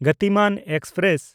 Gatimaan express